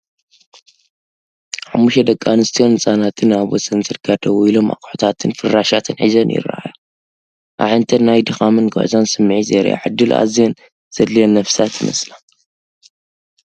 ሓሙሽተ ደቂ ኣንስትዮን ህጻናትን ኣብ ወሰን ጽርግያ ደው ኢሎም ኣቑሑታትን ፍራቫትን ሒዘን ይረኣያ። ኣዒንተን ናይ ድኻምን ጉዕዞን ስምዒት የርእያ፤ ዕድል ኣዝየን ዘድልየን ነፍሳት ይመስላ።